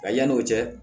A yan'o cɛ